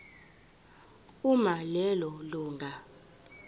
uma lelo lunga